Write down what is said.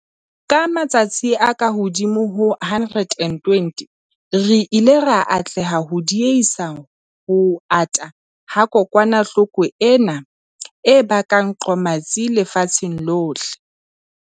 Ka matsatsi a kahodimo ho 120, re ile ra atleha ho diehisa ho ata ha kokwanahloko ena e bakang qomatsi lefatsheng lohle.